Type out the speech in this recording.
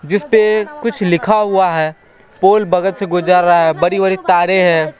जिस पे कुछ लिखा हुआ है पोल बगल से गुजर रहा है बड़ी बड़ी तारें हैं।